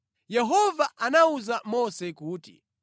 Yehova anawuza Mose kuti,